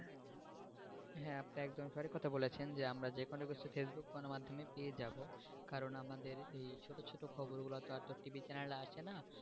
হ্যাঁ আপনি একদম সঠিক কোথা বলেছেন যে আমরা যেকোনো কিছু facebook গণমাধ্যমে পেয়ে যাবো কারন আমাদের এই ছোটো ছোটো খবর গুলাতো আরতো TV র channel এ আসেনা,